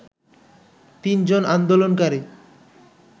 তিনজন আন্দোলনকারী